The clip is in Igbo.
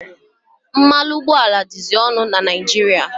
Mmanụ ụgbọala dịzị ọnụ na Naijiria.